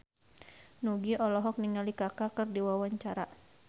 Nugie olohok ningali Kaka keur diwawancara